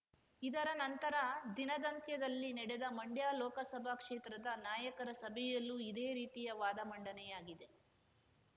ಇದರ ನಂತರ ದಿನದಂತ್ಯದಲ್ಲಿ ನಡೆದ ಮಂಡ್ಯ ಲೋಕಸಭಾ ಕ್ಷೇತ್ರದ ನಾಯಕರ ಸಭೆಯಲ್ಲೂ ಇದೇ ರೀತಿಯ ವಾದ ಮಂಡನೆಯಾಗಿದೆ